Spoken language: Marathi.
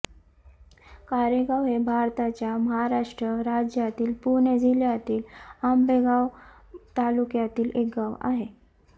कारेगाव हे भारताच्या महाराष्ट्र राज्यातील पुणे जिल्ह्यातील आंबेगाव तालुक्यातील एक गाव आहे